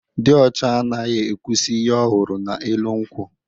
Dị ọchị anaghị ekwusi ihe ọ hụrụ n'elu nkwọ.